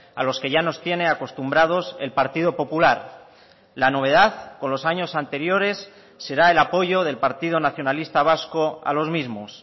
a los que ya nos tiene acostumbrados el partido popular la novedad con los años anteriores será el apoyo del partido nacionalista vasco a los mismos